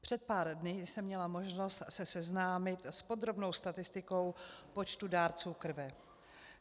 Před pár dny jsem měla možnost se seznámit s podrobnou statistikou počtu dárců krve.